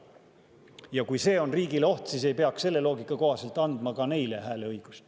Ja kui see on riigile oht, siis ei peaks selle loogika kohaselt andma ka neile hääleõigust.